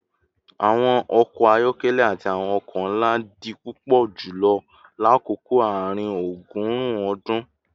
Awọn ọkọ ayọkẹlẹ ati awọn oko nla di pupọ julọ lakoko aarin-ọgọrun ọdun